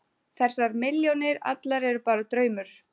Þessar milljónir allar eru bara draumur.